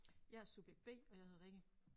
Jeg er subjekt B og jeg hedder Rikke